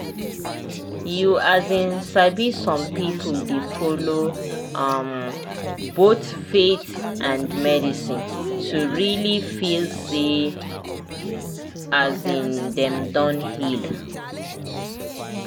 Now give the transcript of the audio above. you um sabi some people dey follow um both faith and medicine to really feel say um dem don heal.